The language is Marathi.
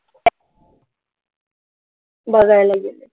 बघायला गेलं.